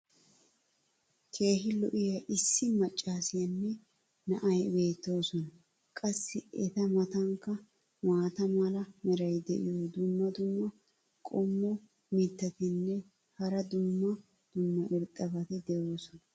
keehi lo'iya issi macaassiyanne na"ay beettoosona. qassi eta matankka maata mala meray diyo dumma dumma qommo mitattinne hara dumma dumma irxxabati de'oosona.